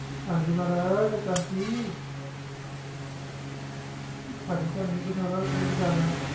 ਹਾਂਜੀ ਮਹਾਰਾਜ ਆਕਾਸ਼ ਜੀ ਭਾਜੀ ਤੁਹਾਨੂੰ ਨੀ ਪਛਾਣਨਾ ਤੇ ਕਿਹਨੂੰ ਪਛਾਣਨਾ ਹੈ